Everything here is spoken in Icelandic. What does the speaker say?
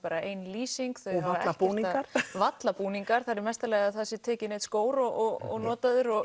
ein lýsing þau hafa ekkert varla búningar varla búningar það er í mesta lagi að það sé tekinn einn skór og notaður og